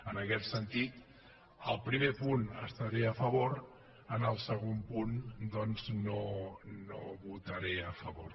en aquest sentit al primer punt hi estaré a favor en el segon punt doncs no hi votaré a favor